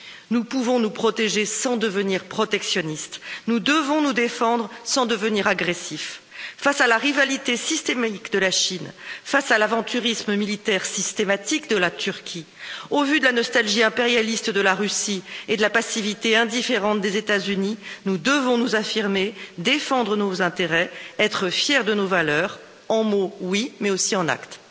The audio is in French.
Nous pouvons nous protéger sans devenir protectionnistes, nous devons nous défendre sans devenir agressifs. Face à la rivalité systématique de la Chine, face à l'aventurisme militaire systématique de la Turquie, au vu de la nostalgie impérialiste de la Russie et de la passivité indifférente des États Unis, nous devons nous affirmer, défendre nos intérêts, être fiers de nos valeurs non seulement en mots, mais aussi en actes.